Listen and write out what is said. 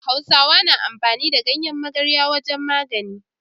Hausawa na amfani da ganyan magarwa wajan magani